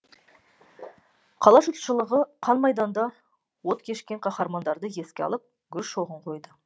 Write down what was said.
қала жұртшылығы қан майданда от кешкен қаһармандарды еске алып гүл шоғын қойды